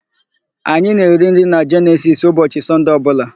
Anyị na-eri nri na Jenesisi ụbọchị Sọnde ọbụla.